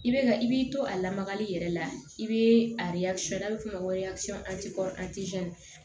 I bɛ ka i b'i to a lamagali yɛrɛ la i bɛ a n'a bɛ f'o ma ko